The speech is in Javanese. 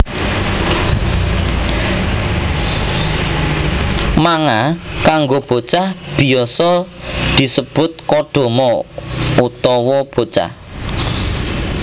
Manga kanggo bocah biasa disebut Kodomo utawa bocah